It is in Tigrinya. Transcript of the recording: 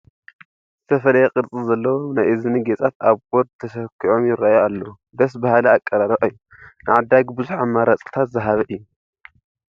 ዝተፈላየ ቅርፂ ዘለዎም ናይ እዝጊ ጌፃት ኣብ ቦርድ ተሰኪዖም ይርአዩ ኣለዉ፡፡ ደስ በሃሊ ኣቀርርባ እዩ፡፡ ንዓዳጊ ብዙህ ኣማራፅታት ዝሃበ እዩ፡፡